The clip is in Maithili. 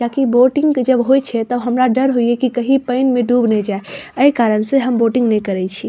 किया की बोटिंग जब होय छै तब हमरा डर होय ये कि कही पेएन में डूब ने जाय ए कारण से हम बोटिंग ने करे छी।